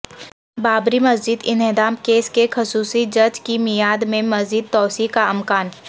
بابری مسجد انہدام کیس کے خصوصی جج کی میعاد میں مزید توسیع کا امکان